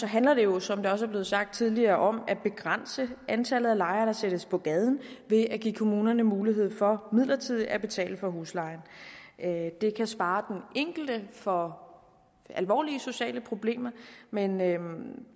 handler jo som det også er blevet sagt tidligere om at begrænse antallet af lejere der sættes på gaden ved at give kommunerne mulighed for midlertidigt at betale for huslejen det kan spare den enkelte for alvorlige sociale problemer men